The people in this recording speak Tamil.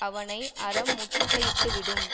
அவனை அறம் முற்றுகையிட்டு விடும்